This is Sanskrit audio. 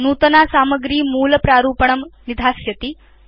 नूतना सामग्री मूल प्रारूपणं निधास्यति